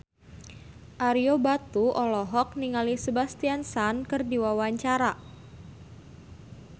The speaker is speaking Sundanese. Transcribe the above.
Ario Batu olohok ningali Sebastian Stan keur diwawancara